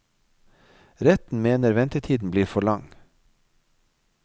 Retten mener ventetiden blir for lang.